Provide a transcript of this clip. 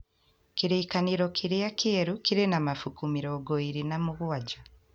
Kĩrĩkanĩro kĩrĩa kĩerũ kĩrĩ na mabuku mĩrongo ĩĩrĩ na mũgwanja